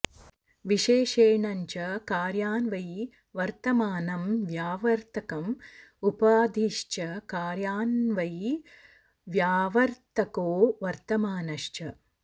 विशेषणञ्च कार्यान्वयि वर्तमानं व्यावर्तकम् उपाधिश्च कार्यानन्वयी व्यावर्तको वर्तमानश्च